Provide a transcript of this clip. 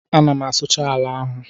Ana m asụcha ala ahụ